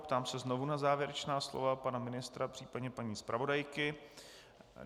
Ptám se znovu na závěrečná slova pana ministra, případně paní zpravodajky.